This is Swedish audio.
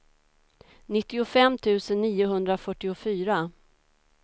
nittiofem tusen niohundrafyrtiofyra